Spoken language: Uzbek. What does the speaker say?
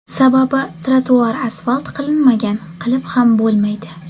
Sababi ‘trotuar’ asfalt qilinmagan, qilib ham bo‘lmaydi.